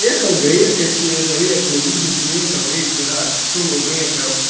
ехал грека через реку видит грека в реке рак сунул грека